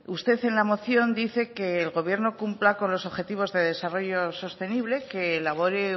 usted en la moción dice que el gobierno cumpla con los objetivos de desarrollo sostenible que elabore